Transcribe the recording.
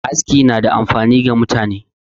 Aski na da amfani ga mutane